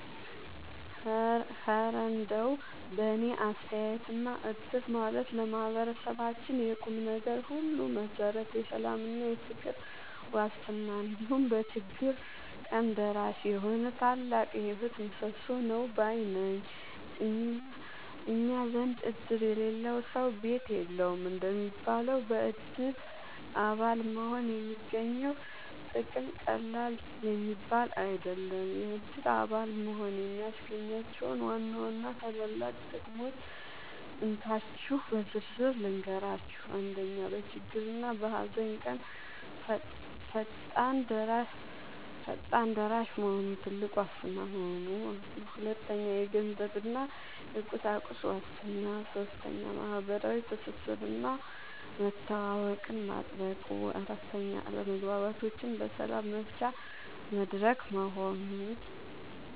እረ እንደው በእኔ አስተያየትማ እድር ማለት ለማህበረሰባችን የቁምነገር ሁሉ መሠረት፣ የሰላምና የፍቅር ዋስትና፣ እንዲሁም በችግር ቀን ደራሽ የሆነ ታላቅ የህይወት ምሰሶ ነው ባይ ነኝ! እኛ ዘንድ "እድር የሌለው ሰው ቤት የለውም" እንደሚባለው፣ በእድር አባል መሆን የሚገኘው ጥቅም ቀላል የሚባል አይደለም። የእድር አባል መሆን የሚያስገኛቸውን ዋና ዋና ታላላቅ ጥቅሞች እንካችሁ በዝርዝር ልንገራችሁ፦ 1. በችግርና በሃዘን ቀን ፈጣን ደራሽ መሆኑ (ትልቁ ዋስትና) 2. የገንዘብና የቁሳቁስ ዋስትና 3. ማህበራዊ ትስስርና መተዋወቅን ማጥበቁ 4. አለመግባባቶችን በሰላም መፍቻ መድረክ መሆኑ